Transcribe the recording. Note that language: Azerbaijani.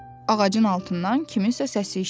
Ağacın altından kimsənin səsi eşidirdi.